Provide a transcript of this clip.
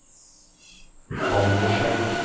Baldersheim